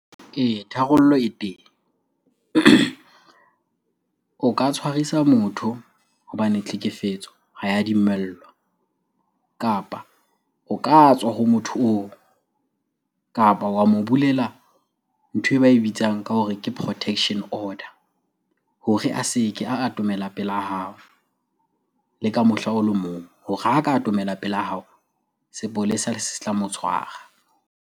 Ee, tharollo e teng. O ka tshwarisa motho hobane tlhekefetso ha ya dumellwa. Kapa o ka tswa ho motho oo, kapa wa mo bulela nthwe ba e bitsang ka hore ke protection order hore a se ke a atomela pela hao le ka mohla o le mong. Hore ha ka atomela pela hao, sepolesa se tla mo tshwara.